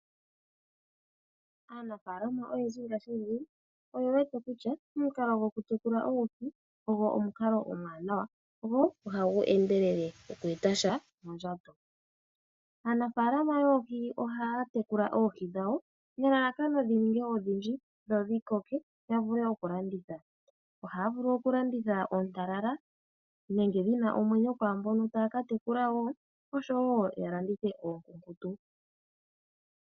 Aanafaalama oyendji ngaashingeyi oye wete kutya omukalo gokutekula oohi ogo omukalo omwaanawa go ohagu endelele oku eta sha mondjato. Aanafaalama yoohi ohaa tekula oohi dhawo nelalakano dhininge odhindji dhodhikoke ,yavule okulanditha. Ohaa vulu okulanditha oontalala nenge dhina omwenyo kwaambono taaka tekula woo ,oshowoo yalandithe oonkunkutu.